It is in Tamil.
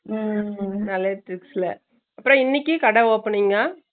ஹம் ஹம் இனிக்கு கடை opening அ?